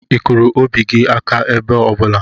Ị kụrụ obi gị aka ebe ọ bụla?